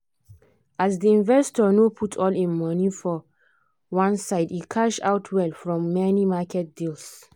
as the investor no put all him money for one side e cash out well from many market deals.